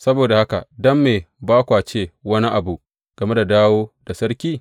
Saboda haka don me ba kwa ce wani abu game da dawo da sarki?